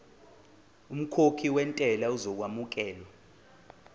umkhokhi wentela uzokwamukelwa